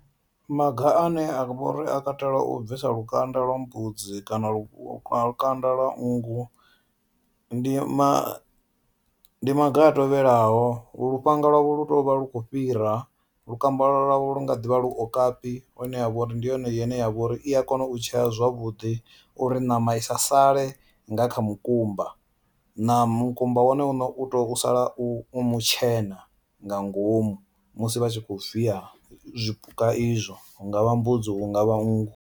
Maga ane a vhori a katela u bvisa lukanda lwa mbudzi kana lu lukanda lwa nngu ndi ma ndi maga a tevhelaho lufhanga lwavho lu tea uvha lu khou fhira, lukambala lwavho lu nga ḓivha lu okapi hone a vhori ndi yone ine ya vha uri i a kona u tshea zwavhuḓi uri ṋama i sa sale nga kha mukumba na mukumba wone une u to sala u mutshena nga ngomu musi vha tshi kho viya zwipuka izwo hu nga vha mbudzi hu nga vha nngu.